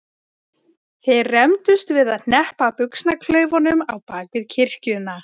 Þeir rembdust við að hneppa buxnaklaufunum á bak við kirkjuna.